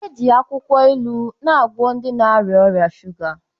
Eji akwụkwọ ilu na-agwọ ndị na-arịa ọrịa shuga.